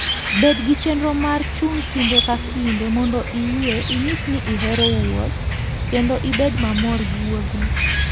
Bed gi chenro mar chung' kinde ka kinde mondo iyue, inyis ni ihero wuoth, kendo ibed mamor gi wuodhno.